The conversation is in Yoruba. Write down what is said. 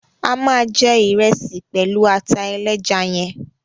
A ma jẹ ìresì pẹlu ata ẹlẹ́ja yẹn